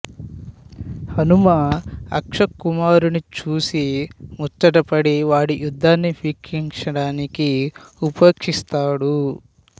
హనుమ అక్ష కుమారుడిని చూసి ముచ్చట పడి వాడి యుద్ధాన్ని వీక్షించడానికి ఉపేక్షిస్తాడు